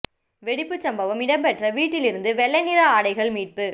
வெடிப்புச் சம்பவம் இடம்பெற்ற வீட்டில் இருந்து வௌ்ளை நிற ஆடைகள் மீட்பு